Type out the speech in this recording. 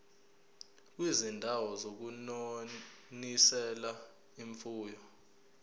kwizindawo zokunonisela imfuyo